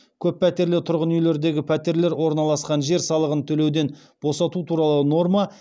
көппәтерлі тұрғын үйлердегі пәтерлер орналасқан жер салығын төлеуден босату туралы норма